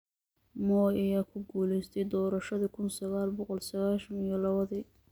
Moi ayaa ku guuleystayv doorashadii kuun sagal boqol sagashab iyo lawo-dii.